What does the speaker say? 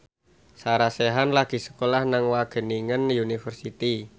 Sarah Sechan lagi sekolah nang Wageningen University